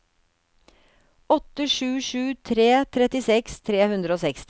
åtte sju sju tre trettiseks tre hundre og seksti